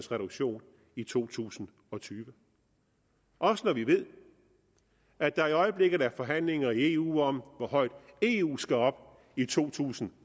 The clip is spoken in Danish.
reduktion i to tusind og tyve også når vi ved at der i øjeblikket er forhandlinger i eu om hvor højt eu skal op i to tusind